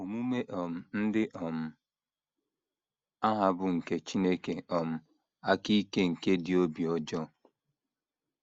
Omume um ndị um a hà bụ nke Chineke um aka ike nke dị obi ọjọọ?